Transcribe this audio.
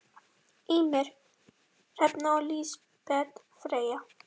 Ýmir, Hrefna og Lísbet Freyja.